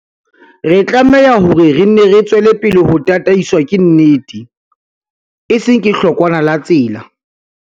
Re tlameha hore re nne re tswele pele ho tataiswa ke nnete, e seng ke hlokwana la tsela.